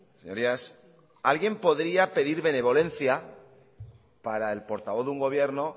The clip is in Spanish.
señorías alguien podría pedir benevolencia para el portavoz de un gobierno